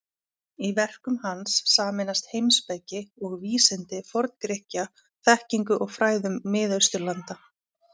Í verkum hans sameinast heimspeki og vísindi Forn-Grikkja þekkingu og fræðum Mið-Austurlanda.